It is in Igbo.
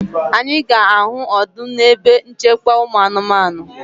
Anyị ga-ahụ ọdụm na ebe nchekwa ụmụ anụmanụ